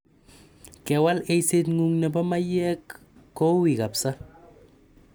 Kewal eiseng'ung' nebo maiyek koui kapsa.